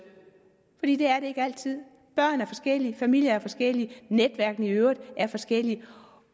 er det ikke altid børn er forskellige familier er forskellige netværkene i øvrigt er forskellige